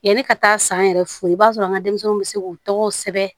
Yanni ka taa san yɛrɛ fo i b'a sɔrɔ an ka denmisɛnninw bɛ se k'u tɔgɔw sɛbɛn